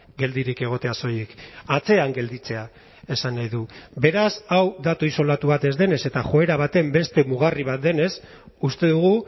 geldirik egotea soilik atzean gelditzea esan nahi du beraz hau datu isolatu bat ez denez eta joera baten beste mugarri bat denez uste dugu